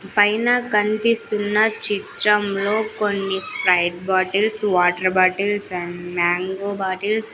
పైన కన్పిస్తున్న చిత్రంలో కొన్ని Sprite bottles water bottles and mango bottles --